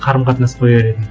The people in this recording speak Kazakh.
қарым қатынас қояр едің